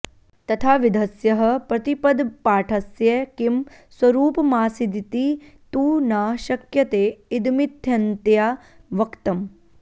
तथाविधस्यः प्रतिपदपाठस्य किं स्वरूपमासीदिति तु न शक्यते इदमित्थन्तया वक्त म्